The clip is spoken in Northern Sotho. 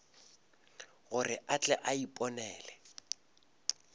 gore a tle a iponele